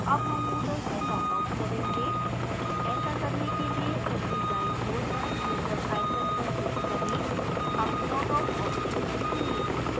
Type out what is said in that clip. अब हम moodle से लॉगआउट करेंगे ऐसा करने के लिए ऊपरी दाईं ओर पर user icon पर click करें अब log out option चुनें